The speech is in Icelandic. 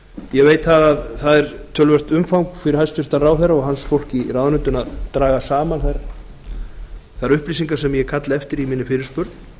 ég veit að það er töluvert umfang fyrir hæstvirtan ráðherra og hans fólk í ráðuneytinu að draga saman þær upplýsingar sem ég kalla eftir í minni fyrirspurn